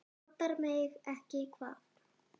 Vantar mig ekki hvað?